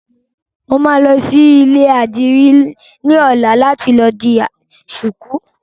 Mo máa lọ sí ilé ìdìrí ní ọ̀la láti lọ di ṣuku